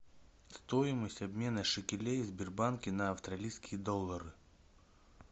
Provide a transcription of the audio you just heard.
стоимость обмена шекелей в сбербанке на австралийские доллары